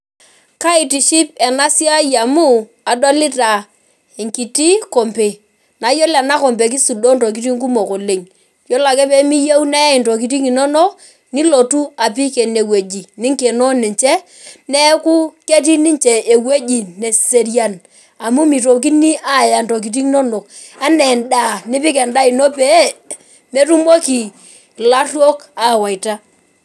Kaitiship enasiai amu kadolita enkiti kompe na ore enatoki na kisudoo ntokitin kumok oleng yiolo ake pimiyeu neyae ntokitin inonok nilotu apik ene ninkeno ninche neaku ketii ninche ewoi naserian amu mitokini Aya ntokitin inonok anaa endaa nipik endaa peyie metumoki laruok awaita.